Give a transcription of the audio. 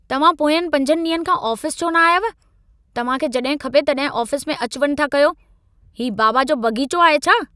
तव्हां पोंयनि 5 ॾींहनि खां आफ़ीस छो न आयव? तव्हां खे जॾहिं खपे तॾहिं आफिस में अचि वञि था कयो। ही बाबा जो बग़ीचो आहे छा?